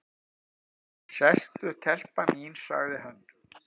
"""Sestu telpa mín, sagði hann."""